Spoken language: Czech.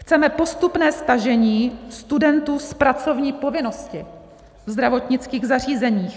Chceme postupné stažení studentů z pracovní povinnosti ve zdravotnických zařízeních.